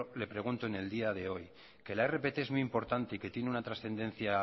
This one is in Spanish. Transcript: le pregunto en el día de hoy que la rpt es muy importante y que tiene una trascendencia